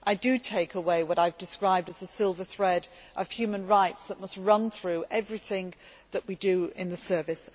I take away with me what I have described as a silver thread' of human rights that must run through everything that we do in the service